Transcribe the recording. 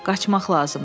Qaçmaq lazımdı.